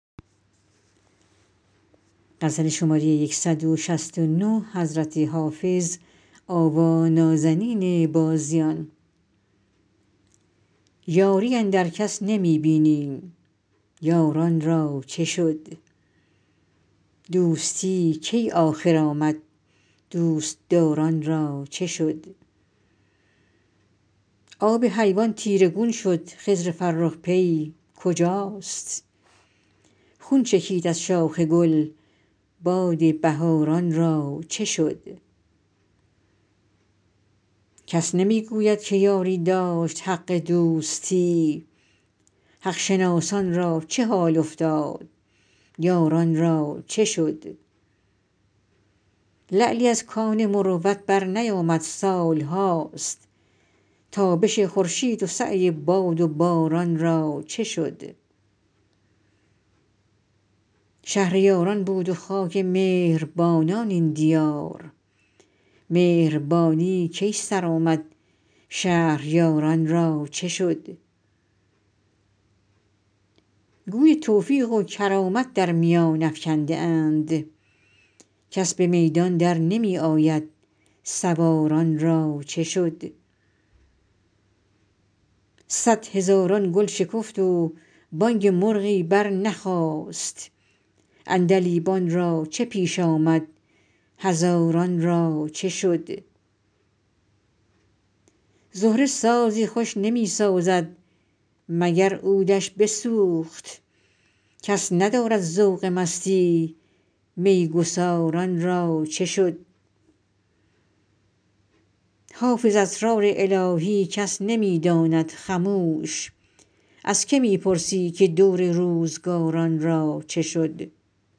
یاری اندر کس نمی بینیم یاران را چه شد دوستی کی آخر آمد دوست دار ان را چه شد آب حیوان تیره گون شد خضر فرخ پی کجاست خون چکید از شاخ گل باد بهار ان را چه شد کس نمی گوید که یاری داشت حق دوستی حق شناسان را چه حال افتاد یاران را چه شد لعلی از کان مروت برنیامد سال هاست تابش خورشید و سعی باد و باران را چه شد شهر یاران بود و خاک مهر بانان این دیار مهربانی کی سر آمد شهریار ان را چه شد گوی توفیق و کرامت در میان افکنده اند کس به میدان در نمی آید سوار ان را چه شد صدهزاران گل شکفت و بانگ مرغی برنخاست عندلیبان را چه پیش آمد هزاران را چه شد زهره سازی خوش نمی سازد مگر عود ش بسوخت کس ندارد ذوق مستی می گسار ان را چه شد حافظ اسرار الهی کس نمی داند خموش از که می پرسی که دور روزگار ان را چه شد